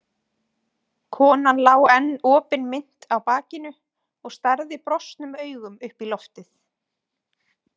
Konan lá enn opinmynnt á bakinu og starði brostnum augum upp í loftið.